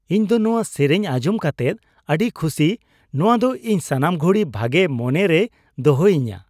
ᱤᱧ ᱫᱚ ᱱᱚᱣᱟ ᱥᱮᱨᱮᱧ ᱟᱸᱡᱚᱢ ᱠᱟᱛᱮᱫ ᱟᱹᱰᱤ ᱠᱷᱩᱥᱤ ᱾ ᱱᱚᱣᱟ ᱫᱚ ᱤᱧ ᱥᱟᱱᱟᱢ ᱜᱷᱩᱲᱤ ᱵᱷᱟᱜᱮ ᱢᱚᱱᱮ ᱨᱮᱭ ᱫᱚᱦᱚᱭᱤᱧᱟ ᱾